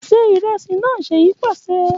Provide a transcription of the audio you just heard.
Ṣe iresi naa Seyi paṣẹ